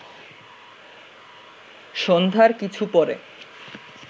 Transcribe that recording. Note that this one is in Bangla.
সন্ধ্যার কিছুপরে